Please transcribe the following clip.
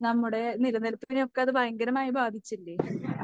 നമ്മുടെ നിലനിൽപ്പിനെയൊക്കെ അത് ഭയങ്കരമായി ബാധിച്ചില്ലേ?